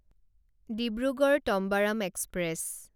Dibrugarh Tambaram express